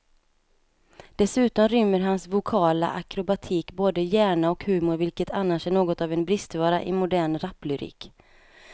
Dessutom rymmer hans vokala akrobatik både hjärna och humor, vilket annars är något av en bristvara i modern raplyrik.